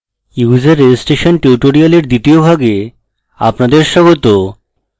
user registration tutorial দ্বিতীয় ভাগে আপনাদের স্বাগত